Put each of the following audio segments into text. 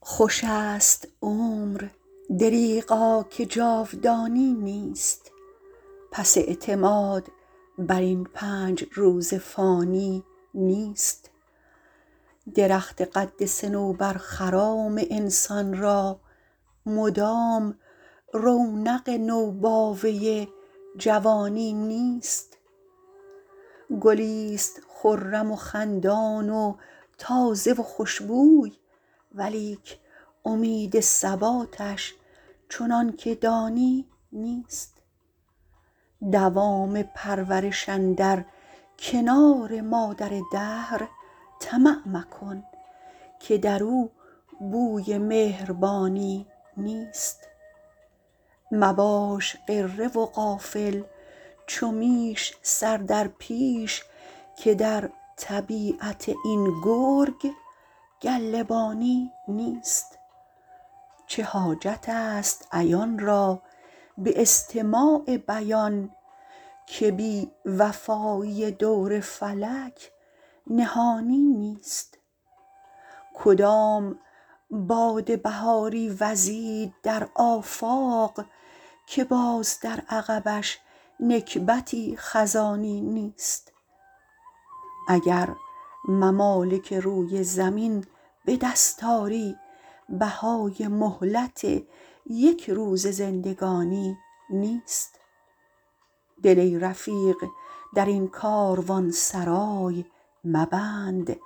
خوش است عمر دریغا که جاودانی نیست پس اعتماد بر این پنج روز فانی نیست درخت قد صنوبر خرام انسان را مدام رونق نوباوه جوانی نیست گلیست خرم و خندان و تازه و خوشبوی ولیک امید ثباتش چنان که دانی نیست دوام پرورش اندر کنار مادر دهر طمع مکن که در او بوی مهربانی نیست مباش غره و غافل چو میش سر در پیش که در طبیعت این گرگ گله بانی نیست چه حاجت است عیان را به استماع بیان که بی وفایی دور فلک نهانی نیست کدام باد بهاری وزید در آفاق که باز در عقبش نکبتی خزانی نیست اگر ممالک روی زمین به دست آری بهای مهلت یک روزه زندگانی نیست دل ای رفیق در این کاروانسرای مبند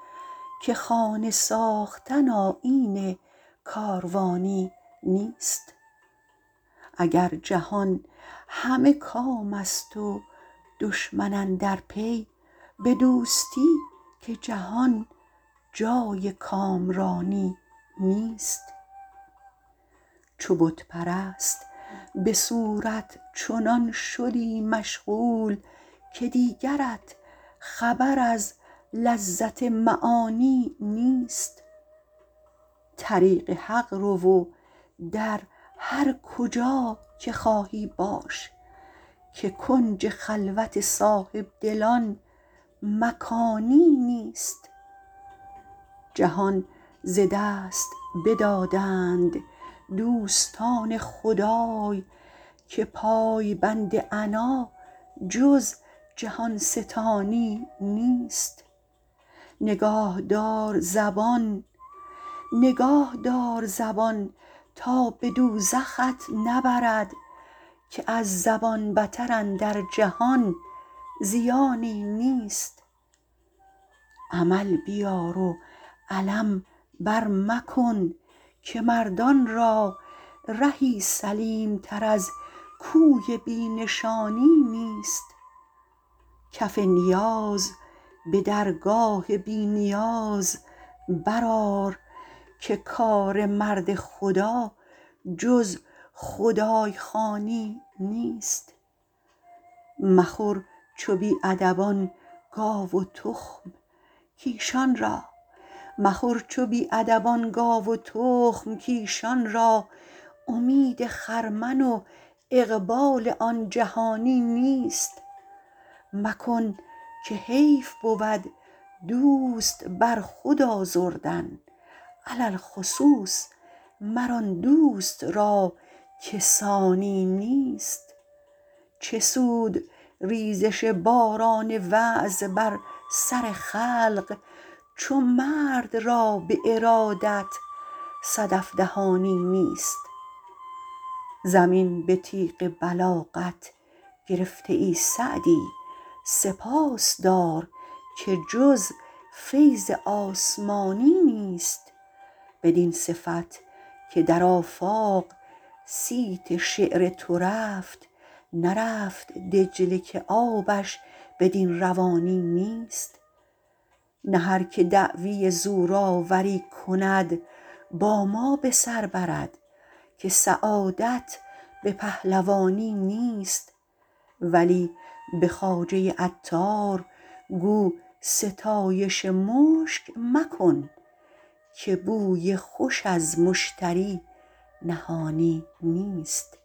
که خانه ساختن آیین کاروانی نیست اگر جهان همه کام است و دشمن اندر پی به دوستی که جهان جای کامرانی نیست چو بت پرست به صورت چنان شدی مشغول که دیگرت خبر از لذت معانی نیست طریق حق رو و در هر کجا که خواهی باش که کنج خلوت صاحبدلان مکانی نیست جهان ز دست بدادند دوستان خدای که پایبند عنا جز جهان ستانی نیست نگاه دار زبان تا به دوزخت نبرد که از زبان بتر اندر جهان زیانی نیست عمل بیار و علم بر مکن که مردان را رهی سلیم تر از کوی بی نشانی نیست کف نیاز به درگاه بی نیاز برآر که کار مرد خدا جز خدای خوانی نیست مخور چو بی ادبان گاو و تخم کایشان را امید خرمن و اقبال آن جهانی نیست مکن که حیف بود دوست بر خود آزردن علی الخصوص مر آن دوست را که ثانی نیست چه سود ریزش باران وعظ بر سر خلق چو مرد را به ارادت صدف دهانی نیست زمین به تیغ بلاغت گرفته ای سعدی سپاس دار که جز فیض آسمانی نیست بدین صفت که در آفاق صیت شعر تو رفت نرفت دجله که آبش بدین روانی نیست نه هر که دعوی زورآوری کند با ما به سر برد که سعادت به پهلوانی نیست ولی به خواجه عطار گو ستایش مشک مکن که بوی خوش از مشتری نهانی نیست